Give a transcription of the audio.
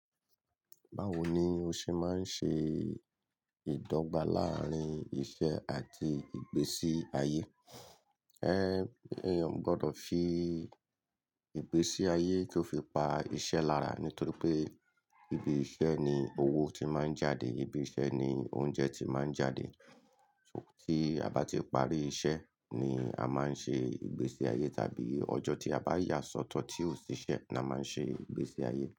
Báwo ni o ṣe máa ń ṣe ìdọ́gba láàárín iṣẹ́ àti ìgbésí ayé? Ẹ́, èèyàn o gbọ́dọ̀ fi ìgbésí ayé kó fi pa iṣẹ́ lára. Nítorí pé ibi iṣẹ́ ni owó ti máa ń jáde, ibi iṣẹ́ ni oúnjẹ ti máa ń jáde. Tí a bá ti parí iṣẹ́ ni a máa ń ṣe ìgbésí ayé. Tàbí ọjọ́ tí a bá ya sọ́tọ̀ tí ò sí iṣẹ́ ni a máa ń ṣe ìgbésí ayé.